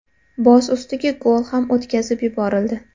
Boz ustiga gol ham o‘tkazib yuborildi.